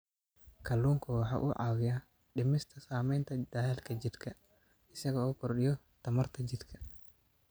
Kalluunku waxa uu caawiyaa dhimista saamaynta daalka jidhka isaga oo kordhiya tamarta jidhka.